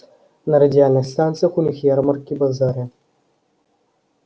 на радиальных станциях у них ярмарки базары